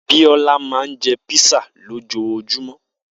Biola ma ń jẹ́ písà lójojúmó.